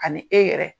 Ani e yɛrɛ